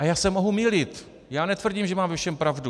A já se mohu mýlit, já netvrdím, že mám ve všem pravdu.